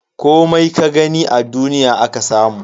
Komai ka gani a duniya aka samu.